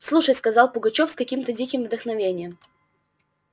слушай сказал пугачёв с каким то диким вдохновением